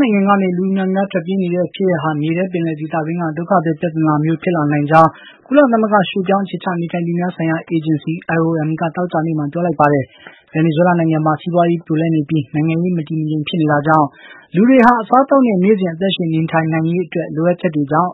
နိုင်ငံကနေ လူအမြောက်အများ ထွက်ပြေးနေတဲ့ ဖြစ်ရပ်ဟာ မြေထဲပင်လယ်ဒေသ အတွင်းက ဒုက္ခသည် ပြဿနာလိုမျိုးဖြစ်ဖို့ဆီ သွားနေတယ်လို့ ကုလသမဂ္ဂ ရွှေ့ပြောင်း အခြေချ နေထိုင်သူများဆိုင်ရာ အေဂျင်စီက သောကြာနေ့မှာ ပြောလိုက်ပါတယ်။ ဗင်နီဇွဲလားနိုင်ငံမှာစီးပွါးရေး ပြိုလဲနေပြီး နိုင်ငံရေး မတည်မငြိမ်ဖြစ်နေတာကြောင့် အစားအသောက် နဲ့ နေ့စဉ် အသက်ရှင်သန်နိုင်ရေး လိုအပ်ချက်တွေကြောင့်